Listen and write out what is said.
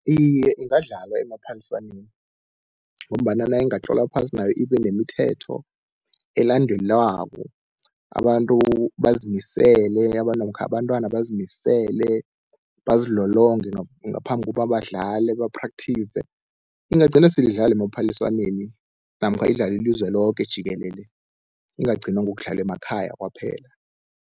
Iye, ingadlalwa emaphaliswaneni, ngombana nayingatlolwa phasi nayo ibe nemithetho elandelwako, abantu bazimisele namkha abantwana bazimisele bazilolonge ngaphambi kuba badlale ba-practise. Ingagcina sele idlalwa emaphaliswaneni namkha idlalwe ilizwe loke jikelele, ingagcina ngokudlalwa emakhaya kwaphela.